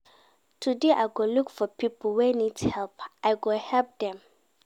Today I go look for pipo wey need help and I go help dem.